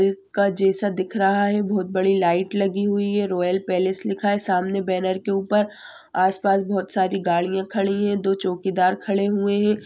का जैसा दिख रहा है बोहोत बड़ी लाइट लगी हुई है। रॉयल पेलेस लिखा है सामने बेनर के ऊपर आस-पास बोहोत सारी गाड़िया खड़ी है दो चोकीदार खड़े हुए है।